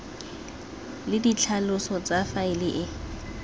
le ditlhaloso tsa faele e